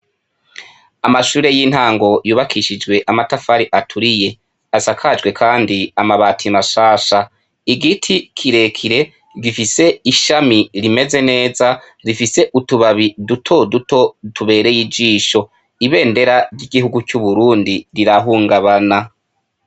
Amashure y'intango yubakishijwe amatafari aturiye, asakajwe Kandi amabati mashasha, igiti kirekire gifise ishami rimeze neza rifise utubabi dutoduto tubereye ijisho, ibendera ry'igihugu c'uburundi rirahungabana.